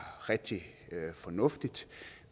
rigtig fornuftigt